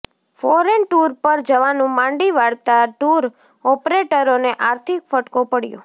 foreign tour પર જવાનું માંડી વાળતાં ટૂર ઓપરેટરોને આર્થિક ફટકો પડયો